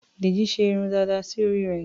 Dèjì ṣe irun dàda sí orí rẹ̀.